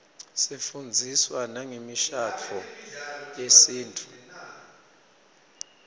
sifundziswa nangemishadvo yesintfu